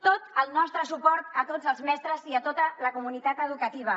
tot el nostre suport a tots els mestres i a tota la comunitat educativa